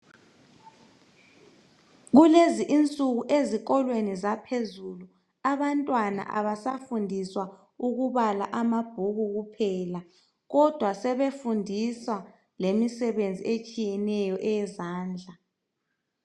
Kulezi insuku ezikolweni zaphezulu abantwana abasafundiswa ukubala amabhuku kuphela kodwa sebefundiswa lemisebenzi etshiyeneyo eyezandla